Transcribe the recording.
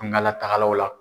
Tungala tagalaw la.